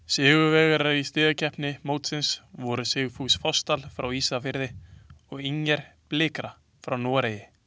Sigurvegarar í stigakeppni mótsins voru Sigfús Fossdal frá Ísafirði og Inger Blikra frá Noregi.